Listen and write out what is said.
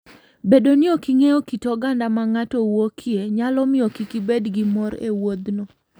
Bedo ni ok ing'eyo kit oganda ma ng'ato wuokie, nyalo miyo kik ibed gi mor e wuodhno.